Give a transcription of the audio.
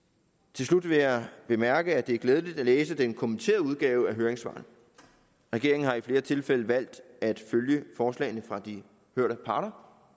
til slut vil jeg bemærke at det er glædeligt at læse den kommenterede udgave af høringssvarene regeringen har i flere tilfælde valgt at følge forslagene fra de hørte parter